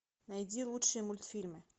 найди лучшие мультфильмы